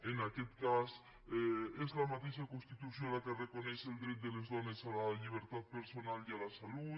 en aquest cas és la mateixa constitució la que reconeix el dret de les dones a la llibertat personal i a la salut